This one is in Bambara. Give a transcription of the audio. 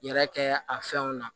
Yɛrɛ kɛ a fɛnw na